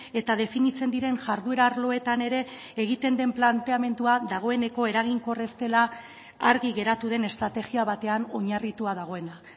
eta definitzen diren jarduera arloetan ere egiten den planteamendua dagoeneko eraginkor ez dela argi geratu den estrategia batean oinarritua dagoena